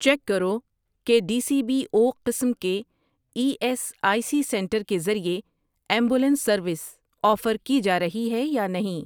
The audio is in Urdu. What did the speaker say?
چیک کرو کہ ڈی سی بی او قسم کے E S I C centre کے ذریعے ایمبولینس سروس آفر کی جارہی ہے یا نہیں